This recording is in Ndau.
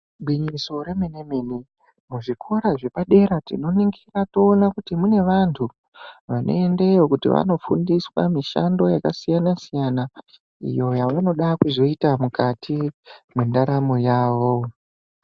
Igwinyiso remene-mene, muzvikora zvepadera tinoningira toona kuti kune vanthu vanoendeyo kuti vanofundiswa mishando yakasiyana- siyana, iyo yavanoda kuzoita mukati mwendaramo yavo.